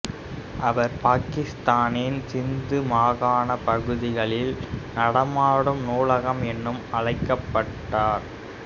அவர் பாகிஸ்தானின் சிந்து மாகாண பகுதிகளில் நடமாடும் நூலகம் என்று அழைக்கப்பட்டார்